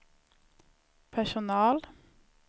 personal